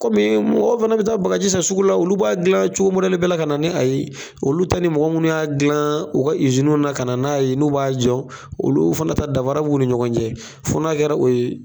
Komi mɔgɔ fɛnɛ bɛ taa baga ji san sugu la, olu b'a dilan cogo mɔdɛli ka na ni a ye olu ta ni mɔgɔ munnu y'a dilan u ka na ka na n'a ye n'u b'a jɔ olu fana taa danfara b'u ni ɲɔgɔn cɛ fo n'a kɛra o ye.